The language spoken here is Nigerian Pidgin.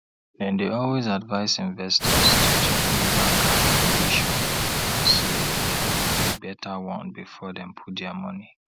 dem dey always advice investors to check new bank app to dey sure say dem be better one before dem put their money